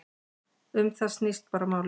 Um það snýst bara málið.